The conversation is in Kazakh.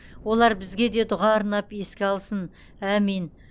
олар бізге де дұға арнап еске алсын әмин